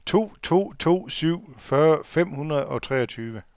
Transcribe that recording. to to to syv fyrre fem hundrede og treogtyve